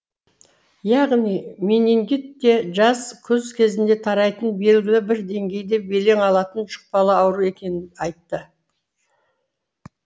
яғни менингит те жаз күз кезінде тарайтын белгілі бір деңгейде белең алатын жұқпалы ауру екенін айтты